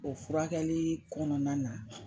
O furakɛlii kɔnɔna na